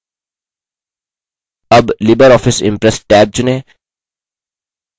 tab libreoffice impress tab चुनें